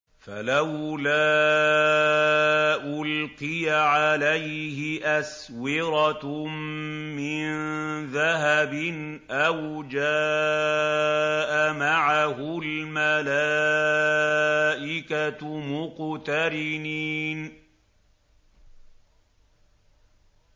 فَلَوْلَا أُلْقِيَ عَلَيْهِ أَسْوِرَةٌ مِّن ذَهَبٍ أَوْ جَاءَ مَعَهُ الْمَلَائِكَةُ مُقْتَرِنِينَ